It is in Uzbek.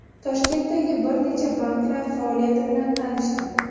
Toshkentdagi bir necha banklar faoliyati bilan tanishdim.